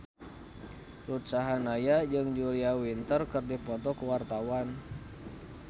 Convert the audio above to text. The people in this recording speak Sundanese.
Ruth Sahanaya jeung Julia Winter keur dipoto ku wartawan